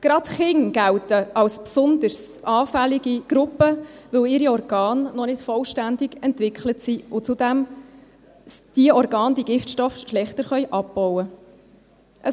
Gerade Kinder gelten als besonders anfällige Gruppe, weil ihre Organe noch nicht vollständig entwickelt sind und zudem ihre Organe diese Giftstoffe schlechter abbauen können.